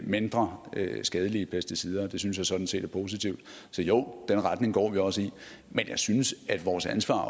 mindre skadelige pesticider og det synes jeg sådan set er positivt så jo den retning går vi også i men jeg synes at vores ansvar